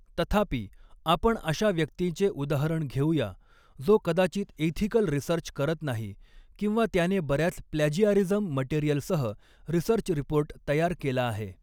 तथापि आपण अशा व्यक्तीचे उदाहरण घेऊया जो कदाचित एथिकल रिसर्च करत नाही किंवा त्याने बऱ्याच प्लॅजीआरिज्म मटेरियलसह रिसर्च रिपोर्ट तयार केला आहे.